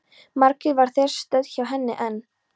Margrét var þar stödd hjá henni en